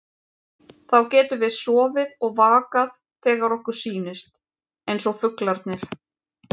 Þá getum við sofið og vakað þegar okkur sýnist, eins og fuglarnir.